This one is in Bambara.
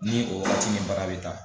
Ni o waatiti nin bara bɛ taa